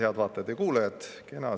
Head vaatajad ja kuulajad!